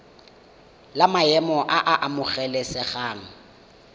la maemo a a amogelesegang